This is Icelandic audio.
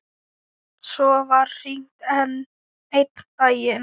Svo var hringt einn daginn.